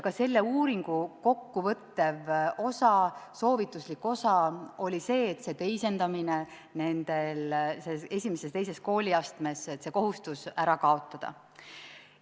Ka selle uuringu kokkuvõttev osa, soovituslik osa oli see, et teisendamise kohustus I ja II kooliastmes ära kaotada.